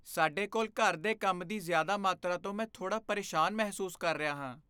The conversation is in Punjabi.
ਸਾਡੇ ਕੋਲ ਘਰ ਦੇ ਕੰਮ ਦੀ ਜ਼ਿਆਦਾ ਮਾਤਰਾ ਤੋਂ ਮੈਂ ਥੋੜ੍ਹਾ ਪਰੇਸ਼ਾਨ ਮਹਿਸੂਸ ਕਰ ਰਿਹਾ ਹਾਂ।